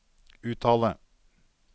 uttale